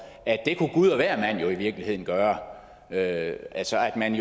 at det kunne gud og hvermand i virkeligheden gøre altså at man